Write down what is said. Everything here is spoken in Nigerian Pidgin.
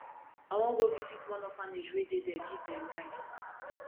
i wan go visit one orphanage wey dey there give dem rice